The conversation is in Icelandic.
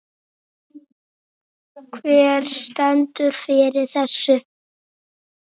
Hver stendur fyrir þessu?